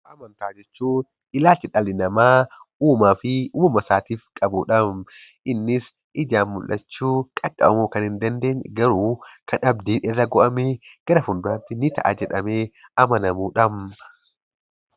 Amantaa jechuun ilaalcha dhalli namaq uumaa fi uumama isaatiif qabu dha. Innis ijaan mul'achuu, qaqqabamuu kan hin dandeenye garuu kan abdiin irra godhamee, gara fuula duraatti ni ta'a jedhamee amanamu dha.